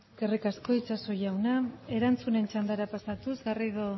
eskerrik asko itxaso jauna erantzunen txandara pasatuz garrido